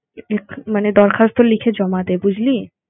মানে দরখাস্ত লিখে জমা দে। বুঝলি?